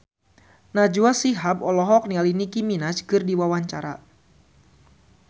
Najwa Shihab olohok ningali Nicky Minaj keur diwawancara